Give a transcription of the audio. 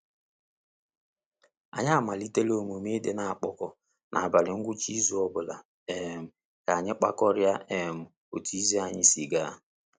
Anyị amalitela omume i di n'akpọ n'abalị ngwucha izu ọbụla um ka anyị kpakorịa um otu izu anyị si ga.